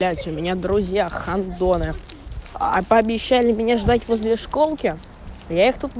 блять у меня в друзьях гандоны пообещали меня ждать возле школки я их тут